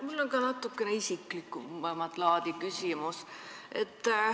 Mul on ka natukene isiklikumat laadi küsimus.